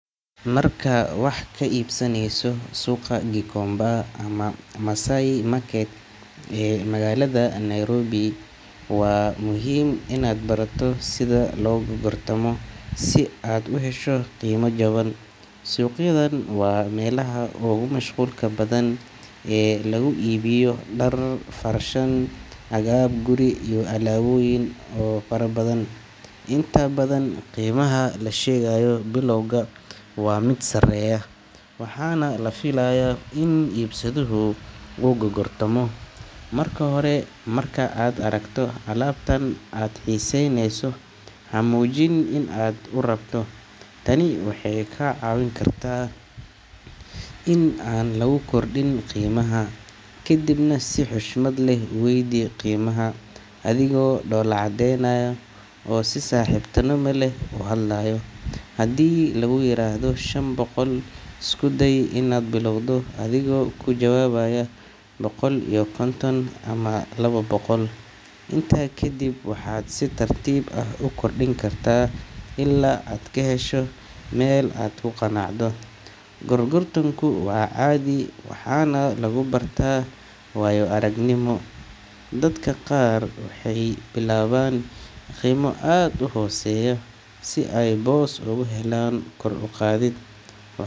Markaad wax ka iibsaneyso suuqa Gikomba ama Masai Market ee magaalada Nairobi, waa muhiim inaad barato sida loo gorgortamo si aad u hesho qiimo jaban. Suuqyadan waa meelaha ugu mashquulka badan ee lagu iibiyo dhar, farshaxan, agab guri iyo alaabooyin kale oo farabadan. Inta badan qiimaha lagu sheegayo bilowga waa mid sareeya, waxaana la filayaa in iibsaduhu uu gorgortamo. Marka hore, marka aad aragto alaabta aad xiisaynayso, ha muujin in aad aad u rabto. Tani waxay kaa caawin kartaa in aan laguu kordhin qiimaha. Kadibna si xushmad leh u weydii qiimaha, adigoo dhoola cadeynaya oo si saaxiibtinimo leh u hadlayo. Haddii lagu yiraahdo shan boqol, isku day inaad bilowdo adigoo ku jawaabaya boqol iyo konton ama laba boqol. Intaa kadib waxaad si tartiib ah u kordhin kartaa ilaa aad ka hesho meel aad ku qanacdo. Gorgortanku waa caadi, waxaana lagu bartaa waayo aragnimo. Dadka qaar waxay bilaabaan qiimo aad u hooseeya si ay boos uga helaan kor u qaadid.